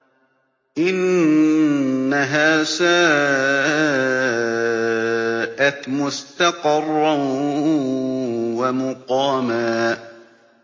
إِنَّهَا سَاءَتْ مُسْتَقَرًّا وَمُقَامًا